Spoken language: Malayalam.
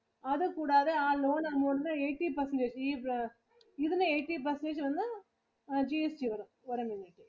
അത് കൂടാതെ ആ loan amount eighteen percentage ഈ ഇതിനു eighteen percentage വന്നു GST വരും. ഒരു minute